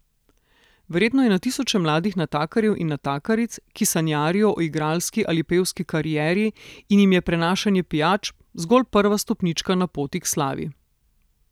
Verjetno je na tisoče mladih natakarjev in natakaric, ki sanjarijo o igralski ali pevski karieri in jim je prinašanje pijač zgolj prva stopnička na poti k slavi.